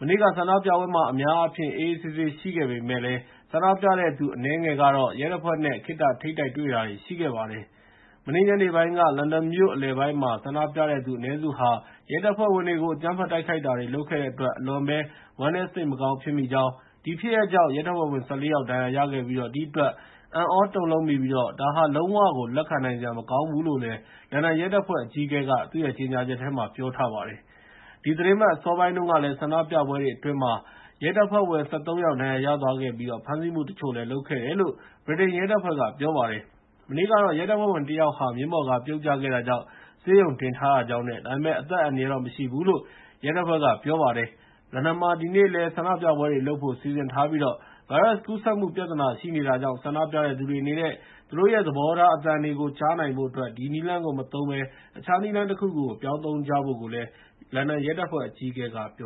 မနေ့က ဆန္ဒပြပွဲမှာ အများအားဖြင့် အေးအေးဆေးဆေး ရှိခဲ့ပေမယ့် ဆန္ဒပြတဲ့သူ အနည်းငယ်ကတော့ ရဲတပ်ဖွဲ့နဲ့ ခေတ္တ ထိပ်တိုက်တွေ့တာတွေ ရှိခဲ့ပါတယ်။ “မနေ့ညနေပိုင်းက လန်ဒန်မြို့အလယ်ပိုင်းမှာ ဆန္ဒပြတဲ့သူ အနည်းစုဟာ ရဲတပ်ဖွဲ့ဝင်တွေကို အကြမ်းဖက်တိုက်ခိုက်တာတွေ လုပ်ခဲ့တဲ့အတွက် အလွန်ပဲ ဝမ်းနည်း စိတ်မကောင်း ဖြစ်မိကြောင်း၊ အဲဒီဖြစ်ရပ်ကြောင့် ရဲတပ်ဖွဲ့ဝင် ၁၄ ယောက် ဒဏ်ရာရခဲ့ပြီး ဒီအတွက် အံ့သြတုန်လှုပ်မိပြီး လုံးဝကို လက်ခံနိုင်စရာ မကောင်းဘူး” လို့ လန်ဒန်ရဲတပ်ဖွဲ့ အကြီးအကဲက ကြေညာချက်မှာ ပြောထားပါတယ်။ ဒီသီတင်းပတ် အစောပိုင်းတုန်းက ဆန္ဒပြပွဲတွေအတွင်း ရဲတပ်ဖွဲ့ဝင် ၁၃ ယောက် ဒဏ်ရာရသွားပြီး ဖမ်းဆီးမှုတချို့လည်း လုပ်ခဲ့တယ်လို့ ဗြိတိန်ရဲတပ်ဖွဲ့က ပြောပါတယ်။ မနေ့ကတော့ ရဲတပ်ဖွဲ့ဝင်တယောက်ဟာ မြင်းပေါ်က ပြုတ်ကျခဲ့တာကြောင့် ဆေးရုံတင်ထားရကြောင်း၊ ဒါပေမယ့် အသက်အန္တရာယ်တော့ မရှိဘူးလို့ ရဲတပ်ဖွဲ့က ပြောပါတယ်။ လန်ဒန်မှာ ဒီနေ့လည်း ဆန္ဒပြပွဲတွေလုပ်ဖို့ စီစဉ်ထားပြီး ဗိုင်းရပ်စ်ကူးစက်မှု ပြဿနာ ရှိနေတာကြောင့် ဆန္ဒပြတဲ့သူတွေအနေနဲ့ သူတို့ရဲ့ သဘောထား အသံတွေကို ကြားနိုင်ဖို့အတွက် ဒီနည်းလမ်းကို မသုံးဘဲ တခြားနည်းလမ်းတခုခုကို ပြောင်းသုံးကြဖို့ လန်ဒန်ရဲတပ်ဖွဲ့ အကြီးအကဲက ပြော